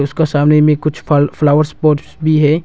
इसको सामने में कुछ फल फ्लावर पॉट भी है।